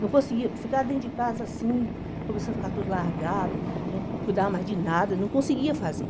Não conseguia ficar dentro de casa assim, começava a ficar tudo largado, não cuidava mais de nada, não conseguia fazer.